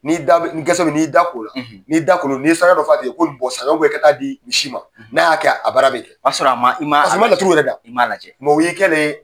N'i y'i da gɛsɛ min n'i y'i da k'o la n'i da kolen do, nin saraka dɔ f'a tigini ye ko nin bɔ sisan i ka taa di misi ma n'a y'a kɛ a baara bɛ ɲɛ o y'a sɔrɔ a man i man laturu yɛrɛ da i man a lajɛ o y'i kɛlen